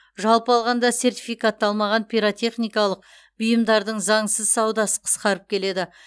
жалпы алғанда сертификатталмаған пиротехникалық бұйымдардың заңсыз саудасы қысқарып келеді